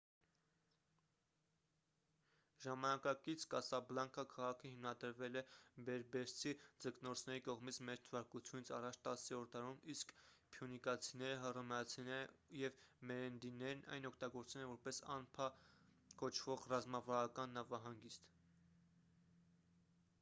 ժամանակակից կասաբլանկա քաղաքը հիմնադրվել է բերբերցի ձկնորսների կողմից մ.թ.ա. 10-րդ դարում իսկ փյունիկացիները հռոմեացիները և մերենիդներն այն օգտագործել են որպես անֆա կոչվող ռազմավարական նավահանգիստ